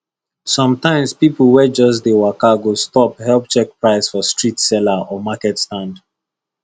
sometimes people wey just dey waka go stop help check price for street seller or market stand